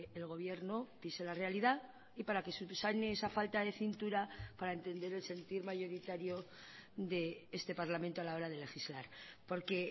el gobierno pise la realidad y para que subsane esa falta de cintura para entender el sentir mayoritario de este parlamento a la hora de legislar porque